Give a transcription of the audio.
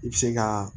I bɛ se ka